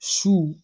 Su